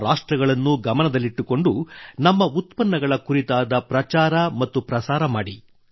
ಆ ರಾಷ್ಟ್ರಗಳನ್ನೂ ಗಮನದಲ್ಲಿಟ್ಟುಕೊಂಡು ನಮ್ಮ ಉತ್ಪನ್ನಗಳ ಕುರಿತಾದ ಪ್ರಚಾರ ಮತ್ತು ಪ್ರಸಾರ ಮಾಡಿ